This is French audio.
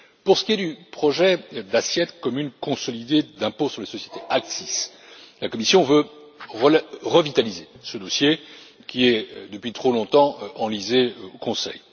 Pour ce qui est du projet d'assiette commune consolidée d'impôt sur les sociétés ACCIS la Commission veut revitaliser ce dossier, qui est depuis trop longtemps enlisé au Conseil.